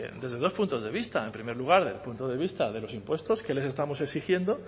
desde dos puntos de vista en primer lugar desde el punto de vista de los impuestos que les estamos exigiendo